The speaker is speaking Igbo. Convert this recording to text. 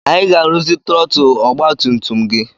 Anyị ga-arụzi trọtụl ọgbatumtum gị.